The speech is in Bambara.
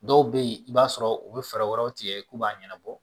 Dɔw bɛ yen i b'a sɔrɔ u bɛ fɛɛrɛ wɛrɛw tigɛ k'u b'a ɲɛnabɔ